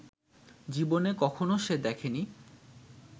জীবনে কখনো সে দেখেনি